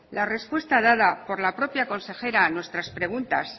la respuesta dada por la propia consejera a nuestra preguntas